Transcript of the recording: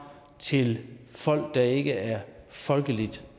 til folk der ikke er folkeligt